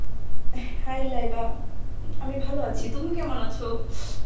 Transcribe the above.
hi Lydia, আমি ভালো আছি, তুমি কেমন আছো?